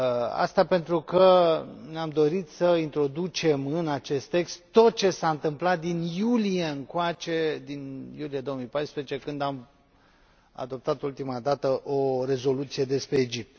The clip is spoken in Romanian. aceasta pentru că ne am dorit să introducem în acest text tot ce s a întâmplat din iulie încoace, din iulie 2014, când am adoptat ultima dată o rezoluție despre Egipt.